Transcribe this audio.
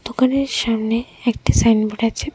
দোকানের সামনে একটি সাইনবোর্ড আছে।